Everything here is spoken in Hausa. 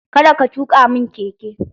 Kada ka tuka mun keke!